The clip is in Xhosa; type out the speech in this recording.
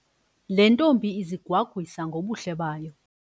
Le ntombi izigwagwisa ngobuhle bayo.